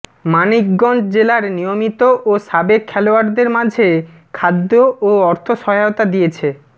মানিকগঞ্জ জেলার নিয়মিত ও সাবেক খেলোয়াড়দের মাঝে খাদ্য ও অর্থ সহায়তা দিয়েছে